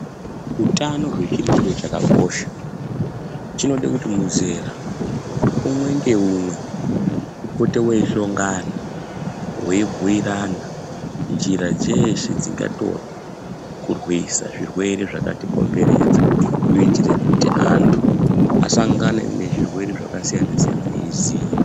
Hutano hwedu chiro chakakosha. Chinode kuti muzera umwe ngeumwe upote weishongana weibhuyirana njira dzeshe dzikangatorwa kurwisa zvirwere zvakatikomberedza kuitire kuti antu asangane nezvirwere zvakasiyana siyana eiziva.